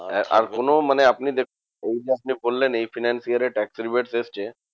আর কোনো মানে আপনি এই যে আপনি বললেন এই financial এ tax এর weight এসেছে